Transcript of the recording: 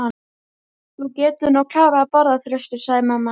Þú getur nú klárað að borða, Þröstur, sagði mamma.